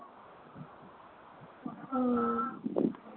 হম